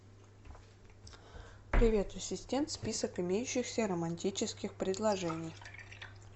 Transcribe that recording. привет ассистент список имеющихся романтических предложений